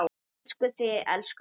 Elskum þig, elsku amma.